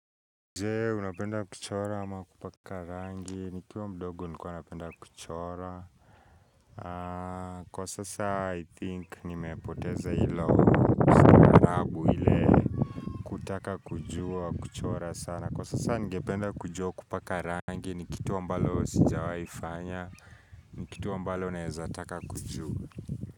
Je, unapenda kuchora ama kupaka rangi? Nikiwa mdogo nilikuwa napenda kuchora Kwa sasa I think nimepoteza hilo kutu marabu ile kutaka kujua kuchora sana, kwa sasa ningependa kujua kupaka rangi ni kitu ambalo sijawahifanya, ni kitu ambalo naezataka kujua.